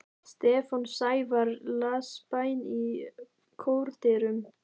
Stefán Snævarr las bæn í kórdyrum.